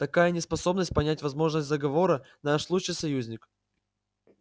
такая неспособность понять возможность заговора наш лучший союзник